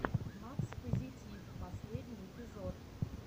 макс позитив последний эпизод